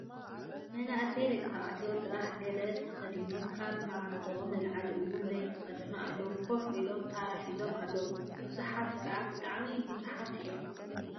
መናእሰይ ደቂ ተባዕትዮ ጥራሕ ገላ ተከዲኖምን ካብ ምዓንጥኦም ንላዕሊ እውን ዘይተከደኑ ኣለው። ከፍ ኢሎም ታራ ሒዞም ኣለው። በዝሖም ከዓ ብጣዐሚ ብዙሓት እዮም።